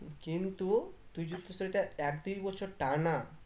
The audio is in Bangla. কিন্তু তুই যদি সেটা এক দেড় বছর টানা